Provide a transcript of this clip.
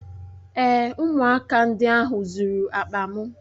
Èé, ụmụaka ndị ahụ zuru akpa m.